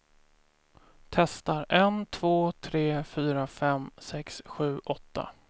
Testar en två tre fyra fem sex sju åtta.